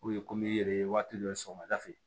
komi i yɛrɛ ye waati dɔ ye sɔgɔmada fɛ